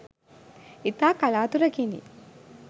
ඉතා කලාතුරකිනි